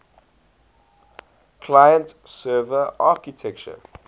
client server architecture